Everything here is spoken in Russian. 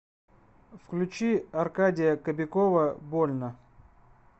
включи аркадия кобякова больно